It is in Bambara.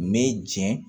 Me jɛn